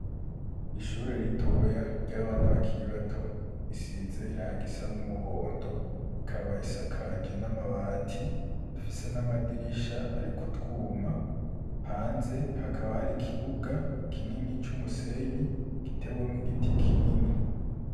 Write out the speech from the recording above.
Ishure ritoya ry'abana bakiri bato risize irangi risa n'umuhondo, ikaba isakaje n'amabati ifise n'amadirisha ariko utwuma, hanze hakaba hari ikibuga kinini c'umusenyi gitewemwo igiti kinini.